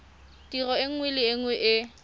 tiro nngwe le nngwe e